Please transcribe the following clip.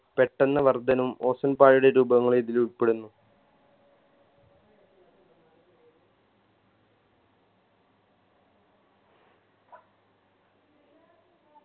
പെട്ടെന്ന് വർധനം ozone പാളിയുടെ രൂപങ്ങളും ഇതിലുൾപ്പെടുന്നു